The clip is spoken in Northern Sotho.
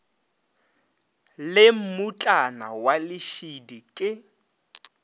le mmutlana wa lešidi ke